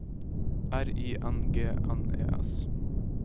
R I N G N E S